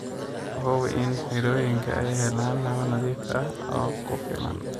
Hubi in xirooyinka ay helaan hawo nadiif ah oo ku filan.